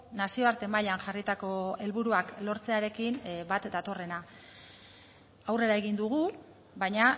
nazioarte mailan jarritako helburuak lortzearekin bat datorrena aurrera egin dugu baina